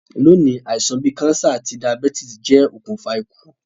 Loní, àisàn bi cancer àti diabetes je okùnfà ikú